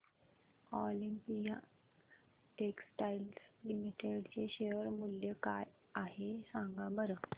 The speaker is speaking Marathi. ऑलिम्पिया टेक्सटाइल्स लिमिटेड चे शेअर मूल्य काय आहे सांगा बरं